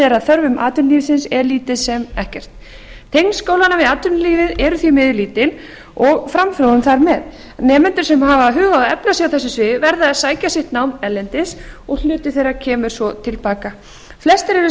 er að þörfum atvinnulífsins er lítið sem ekkert tengsl skólanna við atvinnulífið eru því mjög lítil og framþróun þar með nemendur sem hafa hug á að efla sig á þessu sviði verða að sækja sitt nám erlendis og hluti þeirra kemur svo til baka flestir eru